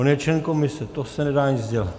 On je člen komise, to se nedá nic dělat.